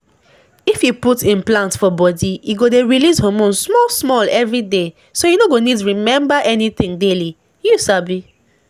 if you put implant for body e go dey release hormone small-small every day so you no go need remember anything daily — you sabi.